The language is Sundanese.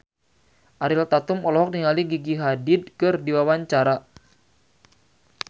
Ariel Tatum olohok ningali Gigi Hadid keur diwawancara